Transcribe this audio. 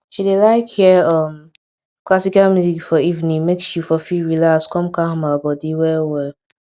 she dey like hear um classical music for evening make she for fit relax come calm her body well well